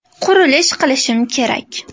Qurilish qilishim kerak.